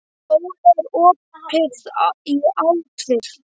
Óli, er opið í ÁTVR?